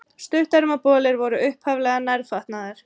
Stuttermabolir voru upphaflega nærfatnaður.